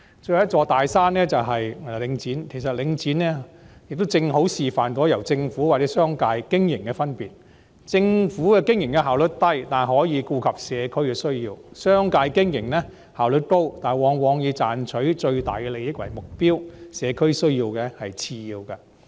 最後一座"大山"是領展，其實領展正好示範了由政府或商界經營的分別，政府經營的效率低，但可以顧及社區的需要；而商界經營則效率高，但往往以賺取最大利益為目標，社區需要只是次要。